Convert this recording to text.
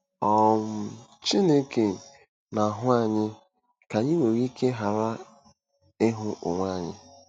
um Chineke na-ahụ anyị ka anyị nwere ike ghara ịhụ onwe anyị.